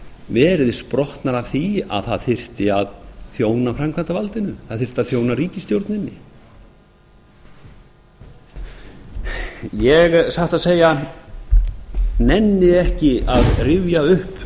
verið sprottnar af því að það þyrfti að þjóna framkvæmdarvaldinu það þyrfti að þjóna ríkisstjórninni ég satt að segja nenni ekki að rifja upp